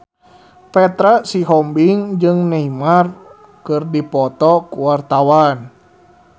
Petra Sihombing jeung Neymar keur dipoto ku wartawan